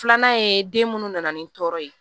Filanan ye den munnu nana ni tɔɔrɔ ye